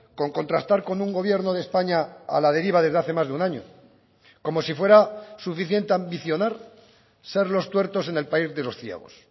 con contrastar con un gobierno de españa a la deriva desde hace más de un año como si fuera suficiente ambicionar ser los tuertos en el país de los ciegos